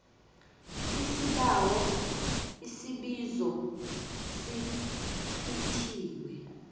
isibawo isibizo sicithiwe